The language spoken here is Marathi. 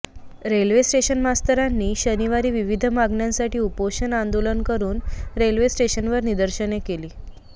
रेल्वे स्टेशन मास्टरांनी शनिवारी विविध मागण्यांसाठी उपोषण आंदोलन करुन रेल्वे स्टेशनवर निदर्शने केली